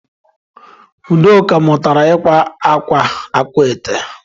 Udoka mutara ikwa akwa akwaete.